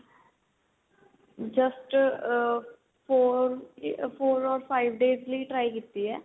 just ਆ four ਆ four or five days ਲਈ try ਕੀਤੀ ਏ